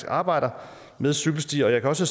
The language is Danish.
arbejder med cykelstier jeg så